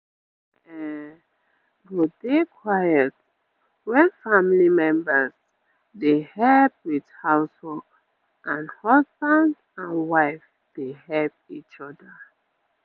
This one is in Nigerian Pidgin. area um go dey quiet wen family members dey help with house work and husband and wife dey help each oda